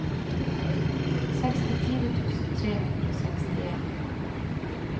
sekstifire tusen tre hundre og sekstien